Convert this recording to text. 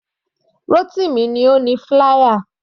Rotimi ni ó ni flier.